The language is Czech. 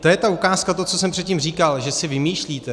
To je ta ukázka, to, co jsem předtím říkal, že si vymýšlíte.